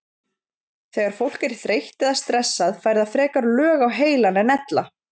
Þegar fólk er þreytt eða stressað fær það frekar lög á heilann en ella.